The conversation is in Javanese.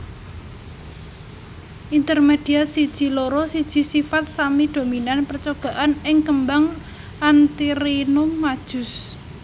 Intermediat siji loro siji sifat sami dominan percobaan ing kembang Antirrhinum majus